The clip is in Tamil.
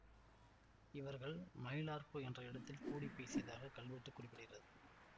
இவர்கள் மயிலார்ப்பு என்ற இடத்தில் கூடி பேசியதாக கல்வெட்டு குறிப்பிடுகிறது